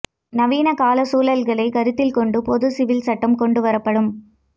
நவீன கால சூழல்களை கருத்தில் கொண்டு பொது சிவில் சட்டம் கொண்டுவரப்படும்